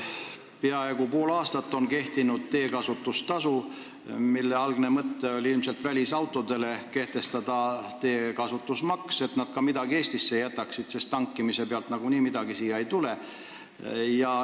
Peaaegu pool aastat on kehtinud teekasutustasu, mille algne mõte oli ilmselt kehtestada välisautodele teekasutusmaks, et nad midagi ka Eestisse jätaksid, sest tankimise pealt siia nagunii midagi ei tule.